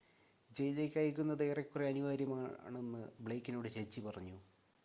"ജയിലിലേക്ക് അയയ്ക്കുന്നത് "ഏറെക്കുറെ അനിവാര്യമാണെന്ന്" ബ്ലെയ്ക്കിനോട് ജഡ്ജി പറഞ്ഞു.